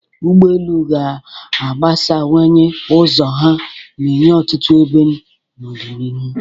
Ụgbọ elu ga-agbasawanye ụzọ ha na-enye ọtụtụ ebe n'ọdịnihu.